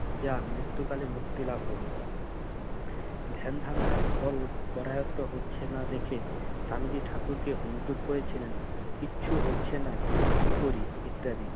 যা মৃত্যুকালে মুক্তি লাভ হবে। ধ্যান-ধারণার ফল করায়ত্ত হচ্ছে না দেখে স্বামীজি ঠাকুরকে অনুরোধ করেছিলেন কিচ্ছু হচ্ছে না, কি করি ইত্যাদি।